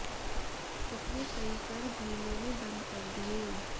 उसने कई कर भी लेने बंद कर दिए